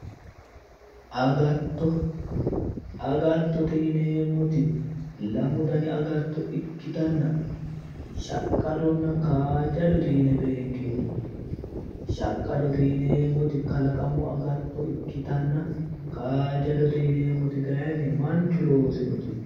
Agatto, agatto yinneemmoti lamu danni agatto ikkittanna shaqqadonna kajadote yinne beenkeemmo ,shaqqadote yinneemmoti kalaqamu agatto ikkittanna ,kaajadote yinneemmoti kayinni manchu loosinote